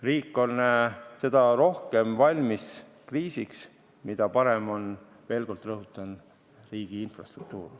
Riik on kriisiks valmis seda rohkem, mida parem on, veel kord rõhutan, riigi infrastruktuur.